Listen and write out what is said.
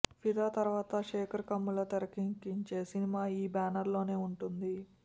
ఫిదా తరువాత శేఖర్ కమ్ముల తెరకెక్కించే సినిమా ఈ బ్యానర్ లోనే ఉంటుంది